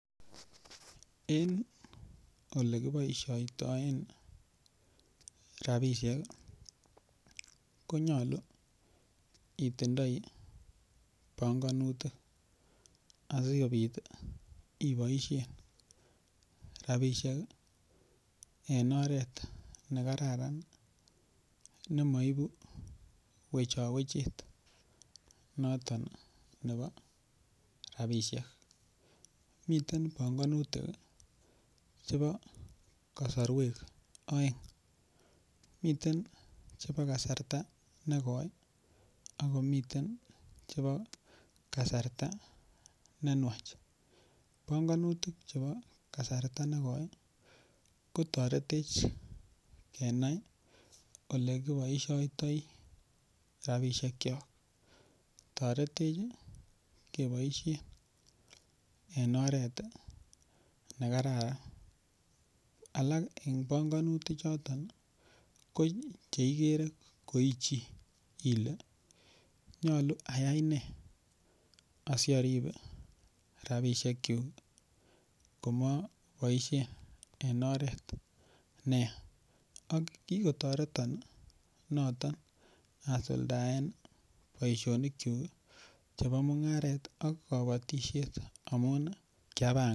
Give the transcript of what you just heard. En olekiboisiotoen rabisiek ii konyolu itindoi bongonutik asikobit iboisien rabisiek en oret nekararan nemoibu wechowechet noton nebo rabisiek, miten bongonutik chebo kosorwek oeng, miten chebo kasarta negoi akomiten chebo kasarta nenwach, bongonutik chebo kasarta negoi ii ko toretech kenai olekiboisiotoi rabisiekchok, toretech keboisien en oret nekararan, alak en panganutik choton ko cheigere ko ichii ile nyolu ayai nee asiarip rabisiekchuk komaboisien en oreet neya ak kikotoreton noton asuldaen boisionikchuk chebo mung'aret ak kobotisiet amun kiapangan.